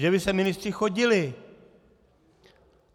Že by sem ministři chodili.